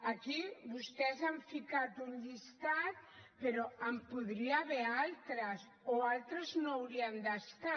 aquí vostès han ficat un llistat però n’hi podria haver d’altres o altres no hi haurien d’estar